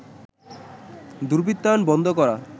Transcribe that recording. দুর্বৃত্তায়ন বন্ধ করা